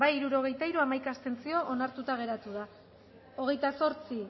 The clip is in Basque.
hirurogeita hiru boto aldekoa hamaika abstentzio onartuta geratu da hogeita zortzi